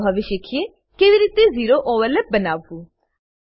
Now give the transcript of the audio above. ચાલો હવે શીખીએ કેવી રીતે ઝેરો ઓવરલેપ બનાવવું